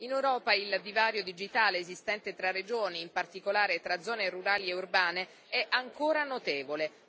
In Europa il divario digitale esistente tra regioni, in particolare tra zone rurali e urbane, è ancora notevole.